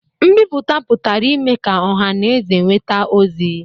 Nbipụta pụtara ime ka ọha na eze nweta ozi